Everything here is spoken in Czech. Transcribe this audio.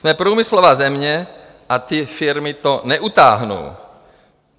Jsme průmyslová země a ty firmy to neutáhnou.